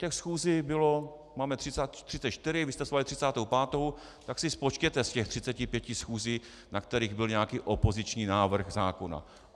Těch schůzí bylo - máme 34, vy jste svolali 35., tak si spočtěte z těch 35 schůzí, na kterých byl nějaký opoziční návrh zákona.